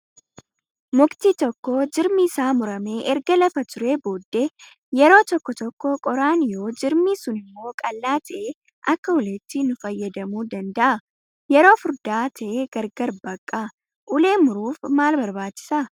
Mukti tokko jirmi isaa muramee erga lafa turee booddee yeroo tokko tokko qoraan yoo jirmi sunimmoo qal'aa ta'e akka uleetti nu fayyadamuu danda'a. Yoo furdaa ta'e gargar baqqaa. Ulee muruuf maal barbaachisaa?